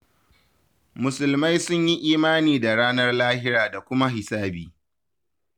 Musulmai sun yi imani da ranar lahira da kuma hisabi.